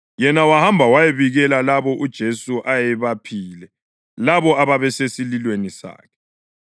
Yena wahamba wayabikela labo uJesu ayephile labo ababesesililweni sakhe.